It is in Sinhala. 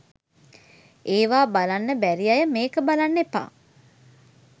ඒවා බලන්න බැරි අය මේක බලන්න එපා.